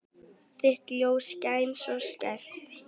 Þitt ljós skein svo skært.